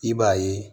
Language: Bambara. I b'a ye